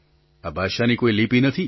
આ ભાષાની કોઈ લિપિ નથી